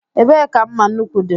Ebee ka mma nnukwu dị?